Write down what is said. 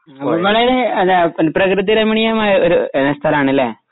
പ്രകൃതി രമണീയമായ ഒരു എ സ്ഥലാണല്ലേ